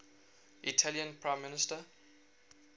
italian prime minister